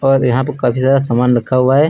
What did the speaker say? और यहां पे काफी ज्यादा सामान रखा हुआ है।